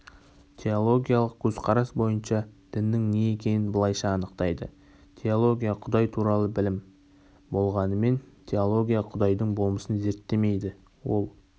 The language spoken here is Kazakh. теологиялық көзқарас бойынша діннің не екенін былайша анықтайды теология құдай туралы білім болғанымен теология құдайдың болмысын зерттемейді ол